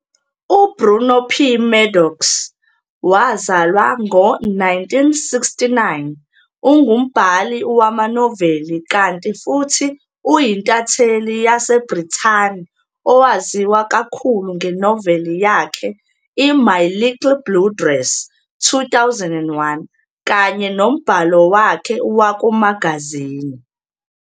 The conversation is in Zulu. uBruno P. Maddox, wazalwa ngo 1969, ungumbhali wama-noveli kanti futhi uyintatheli yase Brithani owaziwa kakhulu ngenoveli yakhe i-"My Little Blue Dress", 2001, kanye nombhalo wakhe waku'magazini.